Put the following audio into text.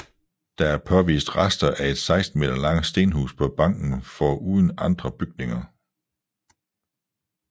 Der er påvist rester af et 16 meter langt stenhus på banken foruden andre bygninger